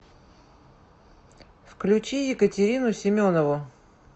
включи екатерину семенову